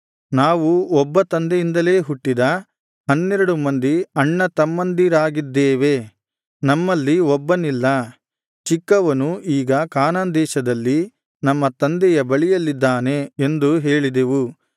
ನಾವು ಒಬ್ಬ ತಂದೆಯಿಂದಲೆ ಹುಟ್ಟಿದ ಹನ್ನೆರಡು ಮಂದಿ ಅಣ್ಣತಮ್ಮಂದಿರಾಗಿದ್ದೇವೆ ನಮ್ಮಲ್ಲಿ ಒಬ್ಬನಿಲ್ಲ ಚಿಕ್ಕವನು ಈಗ ಕಾನಾನ್ ದೇಶದಲ್ಲಿ ನಮ್ಮ ತಂದೆಯ ಬಳಿಯಲ್ಲಿದಾನೆ ಎಂದು ಹೇಳಿದೆವು